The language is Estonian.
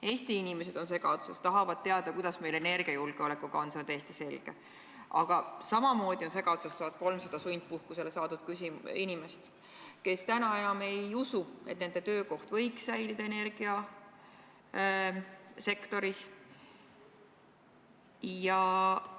Eesti inimesed on segaduses, nad tahavad teada, kuidas meil energiajulgeolekuga on, see on täiesti selge, aga samamoodi on segaduses 1300 sundpuhkusele saadetud inimest, kes täna enam ei usu, et nende töökoht energiasektoris võiks säilida.